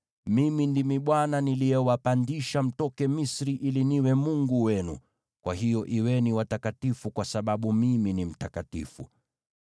Mimi ndimi Bwana niliyewapandisha mtoke Misri ili niwe Mungu wenu. Kwa hiyo kuweni watakatifu kwa sababu Mimi ni mtakatifu.